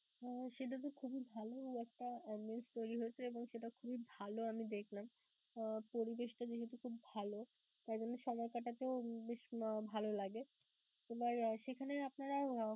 আহ সেটাতো খুবই ভালো একটা তৈরি হয়েছে এবং সেটা খুবই ভালো আমি দেখলাম. আহ পরিবেশটা যেহেতু খুব ভালো তাই জন্য সময় কাটাতেও বেশ ভালো লাগে. এবার সেখানে আপনারা